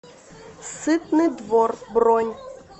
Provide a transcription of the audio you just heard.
сытный двор бронь